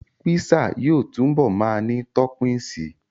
Písà yóò túbọ̀ ma ní tọ́pìnsí